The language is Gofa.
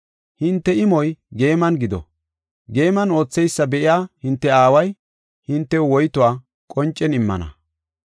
hinte imoy geeman gido. Geeman ootheysa be7iya hinte aaway hintew woytuwa qoncen immana.